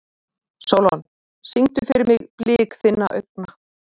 Sólon, syngdu fyrir mig „Blik þinna augna“.